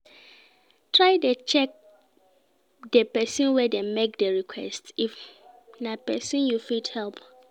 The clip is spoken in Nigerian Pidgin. Try check di persin wey de make di request if na persin you fit help